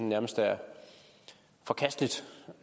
nærmest er forkasteligt